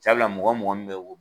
Sabula mugan mugan min bɛ wo